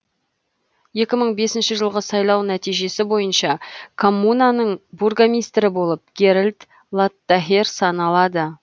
екі мың бесінші жылғы сайлау нәтижесі бойынша коммунаның бургомистрі болып геральд латтахер саналады